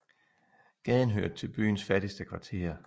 Gaden hørte til byens fattigste kvarterer